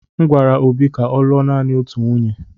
M gwara Obi ka ọ lụọ naanị otu nwunye.